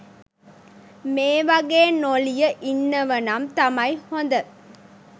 මේවගෙ නොලිය ඉන්නවනම් තමයි හොඳ